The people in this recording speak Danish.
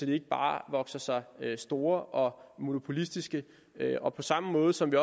de ikke bare vokser sig store og monopolistiske og på samme måde som vi